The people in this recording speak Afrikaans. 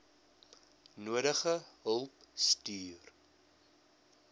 nodige hulp stuur